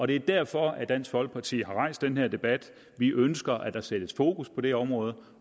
det er derfor dansk folkeparti har rejst den her debat vi ønsker at der sættes fokus på det område